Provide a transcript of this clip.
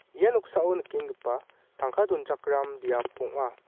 ia noksao nikenggipa tangka donchakram biap ong·a.